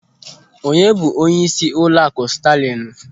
Onye bụ onyeisi ụlọakụ Staalịnụ?